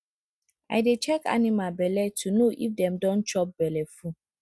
i dey check animal belle to know if dem don chop belleful